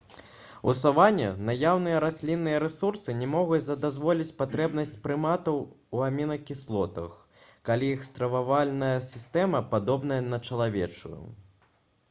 у саване наяўныя раслінныя рэсурсы не могуць задаволіць патрэбнасць прыматаў у амінакіслотах калі іх стрававальная сістэма падобная на чалавечую